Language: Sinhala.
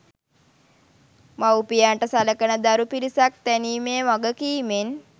මවුපියන්ට සලකන දරු පිරිසක් තැනීමේ වගකීමෙන්